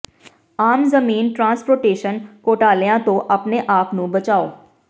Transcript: ਆਮ ਜ਼ਮੀਨ ਟ੍ਰਾਂਸਪੋਰਟੇਸ਼ਨ ਘੋਟਾਲਿਆਂ ਤੋਂ ਆਪਣੇ ਆਪ ਨੂੰ ਬਚਾਓ